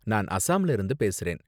நான் அசாம்ல இருந்து பேசுறேன்.